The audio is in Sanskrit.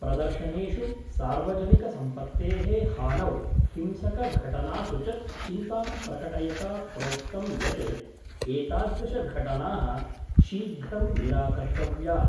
प्रदर्शनेषु सार्वजनिक सम्पत्तेः हानौ हिंसकघटनासु च चिन्तां प्रकटयता प्रोक्तं यत् एतादृशघटना: शीघ्रं निराकर्तव्या।